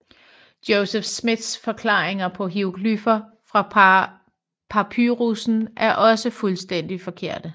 Joseph Smiths forklaringer på hieroglyffer fra papyrussen er også fuldstændig forkerte